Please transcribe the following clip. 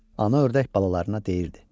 Ana ördək balalarına deyirdi: